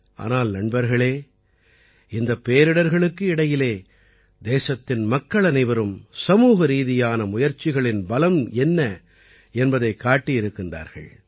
ஆனால் நண்பர்களே இந்தப் பேரிடர்களுக்கு இடையிலே தேசத்தின் மக்களனைவரும் சமூகரீதியான முயற்சிகளின் பலம் என்ன என்பதைக் காட்டியிருக்கிறார்கள்